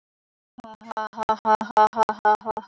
Reginbaldur, hvar er dótið mitt?